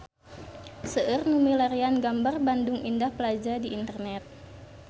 Seueur nu milarian gambar Bandung Indah Plaza di internet